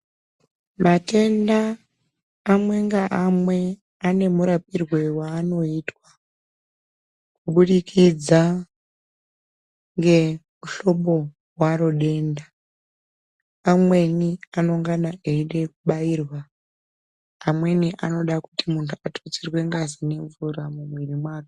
Matenda amwe ngaamwe ane murapirwe aanoita kuburikidza ngemuhlobo waro denda. Amweni anongana eida kubairwa, amweni anoda kuti munthuratutsirwe ngazi ne mvura mumuviri mwake.